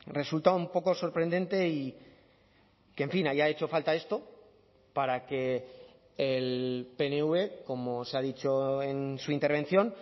resulta un poco sorprendente y que en fin haya hecho falta esto para que el pnv como se ha dicho en su intervención